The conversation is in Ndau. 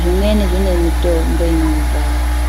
zvemweni zvine mitombo inouraya